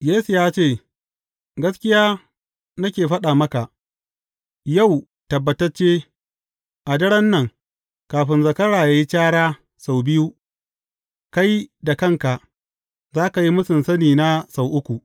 Yesu ya ce, Gaskiya nake faɗa maka, yau, tabbatacce, a daren nan, kafin zakara yă yi cara sau biyu kai da kanka za ka yi mūsun sanina sau uku.